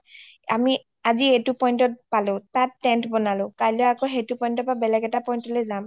আমি আজি এইটো pointত পালো তাত tent বনালো কাইলৈ আকৌ সেইটো pointৰ পা বেলেগ এটা point লে যাম